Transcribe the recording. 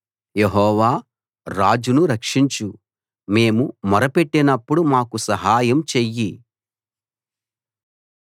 యెహోవా రాజును రక్షించు మేము మొరపెట్టినప్పుడు మాకు సహాయం చెయ్యి